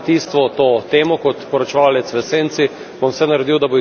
Kot poročevalec v senci bom vse naredil, da bo tudi to dobilo podporo.